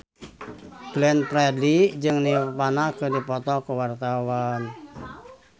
Glenn Fredly jeung Nirvana keur dipoto ku wartawan